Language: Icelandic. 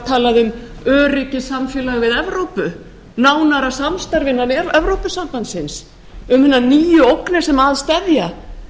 talað um öryggi og samfélag við evrópu nánara samstarf innan evrópusambandsins um hinar nýju ógnir sem að steðja